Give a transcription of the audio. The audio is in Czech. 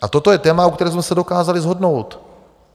A toto je téma, u kterého jsme se dokázali shodnout.